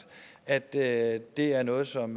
at det at det er noget som